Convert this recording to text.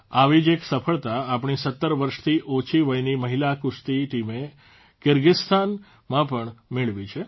આવી જ એક સફળતા આપણી ૧૭ વર્ષથી ઓછી વયની મહિલા કુસ્તી ટીમે કીર્ગીસ્તાનમાં પણ મેળવી છે